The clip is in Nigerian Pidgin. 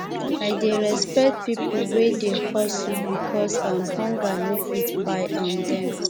i dey respect pipo wey dey hustle because um hunger no fit kpai um dem